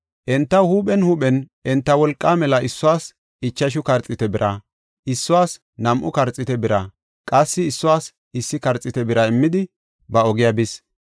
Entaw huuphen huuphen enta wolqaa mela issuwas ichashu karxiite bira, issuwas nam7u karxiite bira qassi issuwas issi karxiite bira immidi ba ogiya bis.